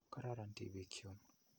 Kororon tipiik chun.